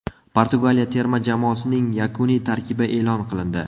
Portugaliya terma jamoasining yakuniy tarkibi e’lon qilindi.